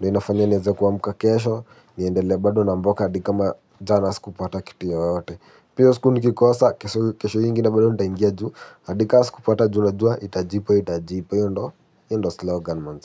Na inafanya niweze kuamka kesho niendelee bado na mboka hadi kama jana sikupata kitu yoyote. Pia hiyo siku nikikosa kesho hiyo ingine bado nitaingia juu hadi kama sikupata juu najua itajipa itajipa hiyo ndiyo slogan manze.